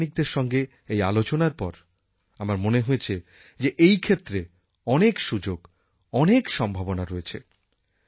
বৈজ্ঞানিকদের সঙ্গে এই আলোচনার পর আমার মনে হয়েছে যে এই ক্ষেত্রে অনেক সুযোগ অনেক সম্ভাবনা রয়েছে